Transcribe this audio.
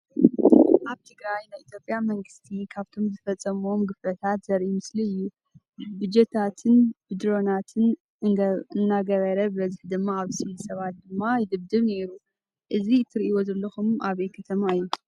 ኣብ ትግራይ ናይ ኢትዮጵያ መንግሰቲ ካብቶም ዝፈፀሞም ግፍዕታት ዘርኢ ምስሊ እዩ ።ብጀታትን ብድሮናትን እንገበረ ብበዝሒ ድማ ኣብ ስቪል ሰባ ት ድማ ይድብድብ ነይሩ ። እዙ እትሪእዎ ዘለኩም ኣበይ ከተማ እዩ ።